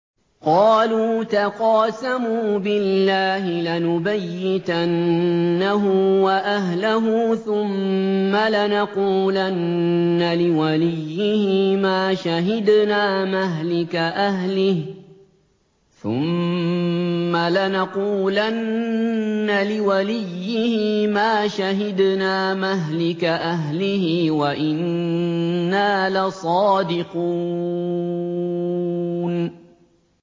قَالُوا تَقَاسَمُوا بِاللَّهِ لَنُبَيِّتَنَّهُ وَأَهْلَهُ ثُمَّ لَنَقُولَنَّ لِوَلِيِّهِ مَا شَهِدْنَا مَهْلِكَ أَهْلِهِ وَإِنَّا لَصَادِقُونَ